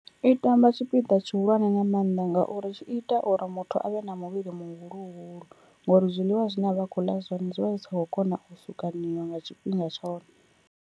I tamba tshipiḓa tshihulwane nga maanḓa ngauri tshi ita uri muthu avhe na muvhili muhuluhulu, ngori zwiḽiwa zwine avha a kho ḽa zwone zwivha zwi sa khou kona u sukaniwa nga tshifhinga tshone.